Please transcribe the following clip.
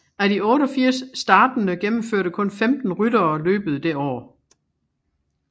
Af de 88 startende gennemførte kun 15 ryttere løbet det år